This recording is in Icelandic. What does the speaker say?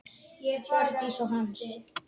Hjördís og Hans.